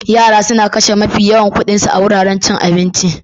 Yara suna kashe mafi yawan kuɗin su a wuraren cin abinci